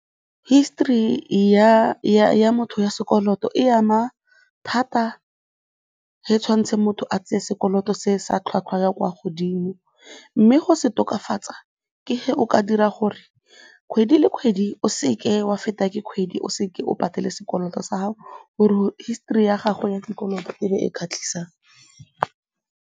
History ya motho ya sekoloto e ama thata ge tshwanetse motho a tseye sekoloto se sa tlhwatlhwa ya kwa godimo mme go se tokafatsa ke ge o ka dira gore kgwedi le kgwedi o seke wa fetwa ke kgwedi o se ke wa patela sekoloto sa gago gore history ya gago ya dikoloto e be e kgatlhisang.